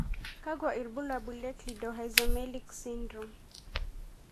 kakwa ibulabul ha Cleidorhizomelic syndrome.